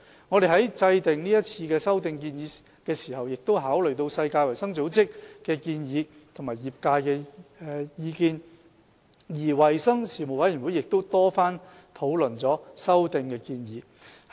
我們在制訂是次修訂建議時，已考慮世界衞生組織的建議及業界的意見，而衞生事務委員會亦曾多番討論修訂建議。